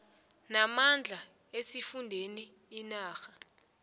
namandla esifundeni inarha